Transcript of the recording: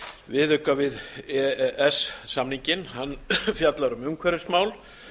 viðauka við e e s samninginn hann fjallar um umhverfismál